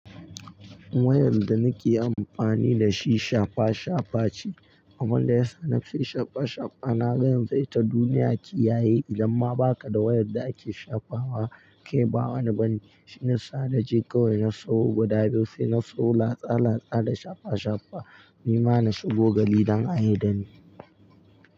Wayar da nake amfani da shi shafa shafa ce. Abunda yasa nafi shafa shafa na ga yanzu ita duniya ke yaye idan ma baka da wayar da ake shafawa ke bawa ne bani. Shinasa naje kawai na sawo guda biyu sai na so latsa latsa da shafa shafa. Ni ma na shigo gari don ayi dani.